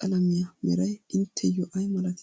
qalamiya meray intteyyoo ayi malatii?